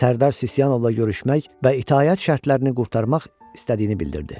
Sərdar Sisyanovla görüşmək və itaət şərtlərini qurtarmaq istədiyini bildirdi.